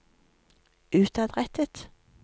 utadrettet